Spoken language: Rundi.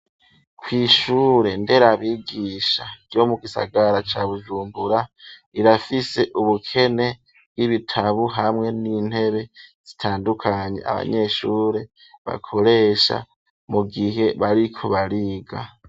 Kw'ishure nderabigisha, ryo mu gisagara ca Bujumbura, irafise ubukene bw'ibitabo, hamwe n'intebe zitandukanye, abanyeshure bakoresha, mu gihe bariko bariga.